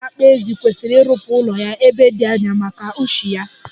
Ndị na-akpa ezi kwesiri irụpụ ụlọ ya ebe di anya, maka ushi ya.